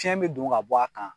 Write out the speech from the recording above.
Fiɲɛ bɛ don ka bɔ a kan.